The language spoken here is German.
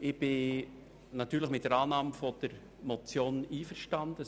Ich bin natürlich mit der Annahme der Motion einverstanden.